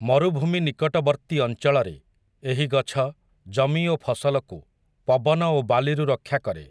ମରୁଭୂମି ନିକଟବର୍ତ୍ତୀ ଅଞ୍ଚଳରେ, ଏହି ଗଛ, ଜମି ଓ ଫସଲକୁ, ପବନ ଓ ବାଲିରୁ ରକ୍ଷା କରେ ।